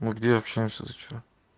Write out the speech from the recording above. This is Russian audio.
мы где общаемся ты что